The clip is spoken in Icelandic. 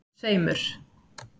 tveimur